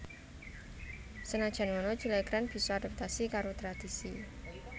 Sanajan ngono Julia Grant bisa adaptasi karo tradhisi